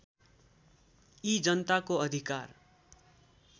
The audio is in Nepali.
यी जनताको अधिकार